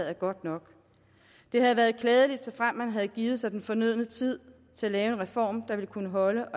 er godt nok det havde været klædeligt såfremt man havde givet sig den fornødne tid til at lave en reform der ville kunne holde